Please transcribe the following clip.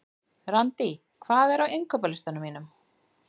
Randý, hvað er á innkaupalistanum mínum?